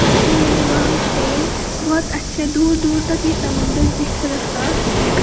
इसीलिए वहां पे बहुत अच्छा दूर दूर तक ये समुद्र दिख रहा है।